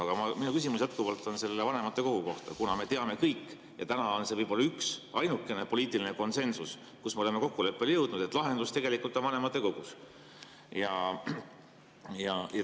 Aga minu küsimus on jätkuvalt vanematekogu kohta, kuna me teame kõik – täna on see võib olla üks ja ainukene poliitiline konsensus, kus me oleme kokkuleppele jõudnud –, et lahendus on vanematekogus.